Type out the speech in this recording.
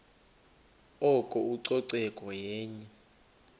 oko ucoceko yenye